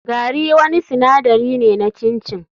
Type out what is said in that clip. Gari wani sinadari ne na chin chin.